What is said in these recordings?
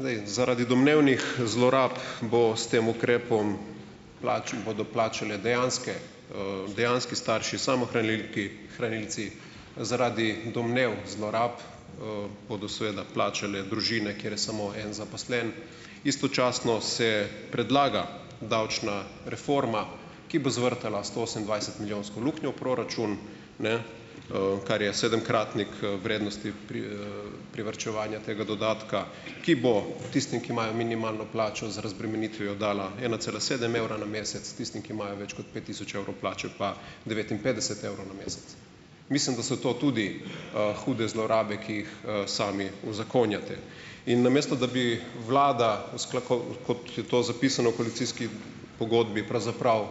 Zdaj, zaradi domnevnih zlorab bo s tem ukrepom bodo plačale dejanske, dejanski starši hranilci, zaradi domnev zlorab, bodo seveda plačale družine, kjer samo en zaposlen. Istočasno se predlaga davčna reforma, ki bo zvrtala stoosemindvajsetmilijonsko luknjo v proračun, ne, kar je sedemkratnik, vrednosti privarčevanja tega dodatka, ki bo, tistim, ki imajo minimalno plačo z razbremenitvijo dala ena cela sedem evra na mesec, tisti, ki imajo več kot pet tisoč evrov plače pa devetinpetdeset evrov na mesec. Mislim, da so to tudi, hude zlorabe, ki jih, sami uzakonjate. In namesto da bi vlada kot je to zapisano v koalicijski pogodbi, pravzaprav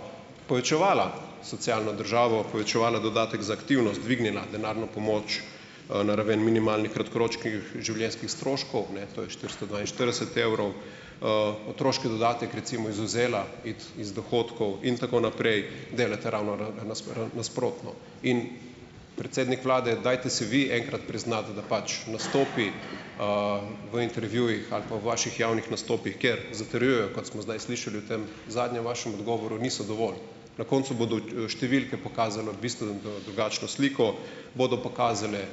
povečevala socialno državo, povečevala dodatek za aktivnost, dvignila denarno pomoč, na raven minimalnih kratkoročnih življenjskih stroškov, ne, to je štiristo dvainštirideset evrov. otroški dodatek recimo izvzela iz dohodkov in tako naprej. Delate ravno nasprotno . In predsednik vlade, dajte se vi enkrat priznati, da pač nastopi, v intervjujih ali pa v vaših javnih nastopih, kjer zatrjujejo, kot smo zdaj slišali v tem zadnjem vašem odgovoru, niso dovolj. Na koncu bodo številke pokazale pisno, drugačno sliko, bodo pokazale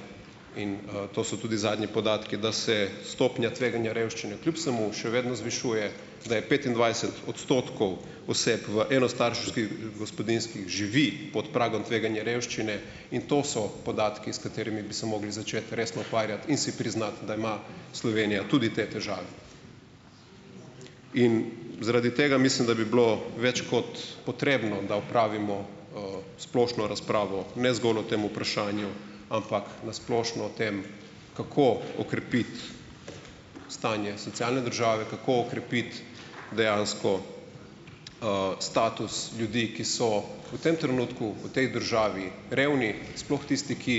in, to so tudi zadnji podatki, da se stopnja tveganja revščine kljub vsemu še vedno zvišuje, da je petindvajset odstotkov oseb v enostarševskih, gospodinjstvih živi pod pragom revščine tveganja, in to so podatki, s katerimi bi se mogli začeti resno ukvarjati, in si priznati, da ima Slovenija tudi te težave. In, zaradi tega mislim, da bi bilo več kot potrebno, da opravimo, splošno razpravo, ne zgolj o tem vprašanju ampak na splošno o tem, kako okrepiti stanje socialne države, kako okrepiti dejansko, status ljudi, ki so v tem trenutku, v tej državi revni, sploh tisti, ki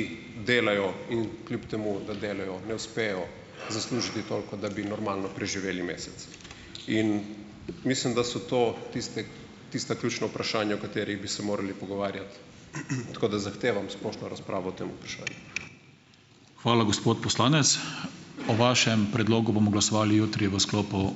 delajo in kljub temu, da delajo, ne uspejo zaslužiti toliko , da bi normalno preživeli mesec. In, mislim, da so to tisti tista ključna vprašanja o katerih bi se morali pogovarjati. tako da zahtevam splošno razpravo o tem vprašanju. Hvala, gospod poslanec. O vašem predlogu bomo glasovali jutri v sklopu ...